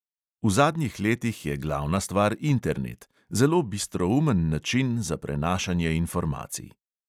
V zadnjih letih je glavna stvar internet, zelo bistroumen način za prenašanje informacij.